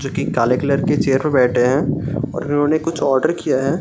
जो कि काले कलर की चेयर पे बैठे हैं और इन्होंने कुछ आर्डर किया है।